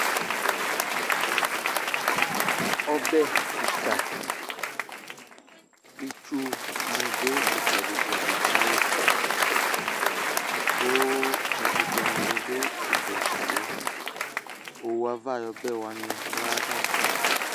Ɔbɛ kɩka, itsunɩ dʋ ɩtsɛdɩ-tsɛdɩ ka yɩ kʋ ɛkʋtɛnɩ bɩ dʋ ɩtsɛdɩ-tsɛdɩ yɛ Owu ava ayʋ ɔbɛ wanɩ dʋ ayava